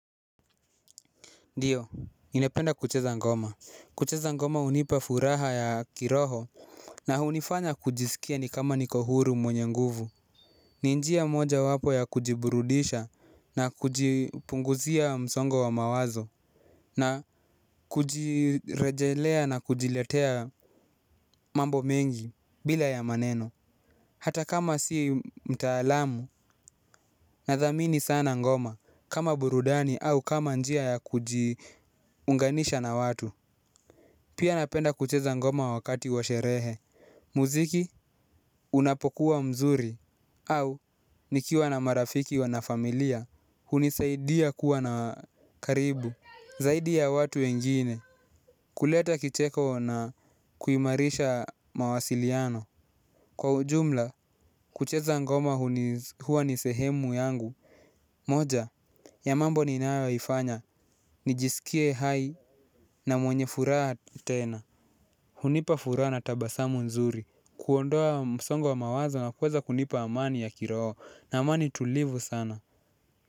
Ndiyo, ninapenda kucheza ngoma, kucheza ngoma hunipa furaha ya kiroho. Na hunifanya kujisikia ni kama niko huru mwenye nguvu. Ni njia moja wapo ya kujiburudisha, na kujipunguzia msongo wa mawazo. Na kujirejelea na kujiletea mambo mengi bila ya maneno. Hata kama si mtaalamu nadhamini sana ngoma, kama burudani au kama njia ya kujiunganisha na watu. Pia napenda kucheza ngoma wakati wa sherehe. Muziki, unapokuwa mzuri. Au, nikiwa na marafiki wanafamilia, hunisaidia kuwa na karibu. Zaidia watu wengine, kuleta kicheko na kuimarisha mawasiliano. Kwa ujumla, kucheza ngoma huwa ni sehemu yangu. Moja ya mambo ni naifanya, nijisikie hai na mwenye furaha tena. Hunipa furana tabasamu nzuri kuondoa msongo wa mawazo na kuweza kunipa amani ya kiroho na amani tulivu sana.